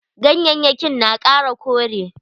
Ganyayyakin na kara kore.